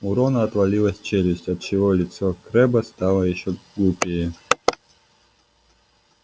у рона отвалилась челюсть отчего лицо крэбба стало ещё глупее